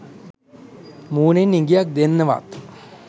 මූණෙන් ඉඟියක් දෙන්නවත්